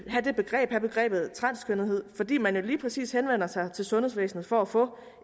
have begrebet begrebet transkønnethed fordi man jo lige præcis henvender sig til sundhedsvæsenet for at få